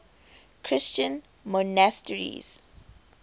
christian monasteries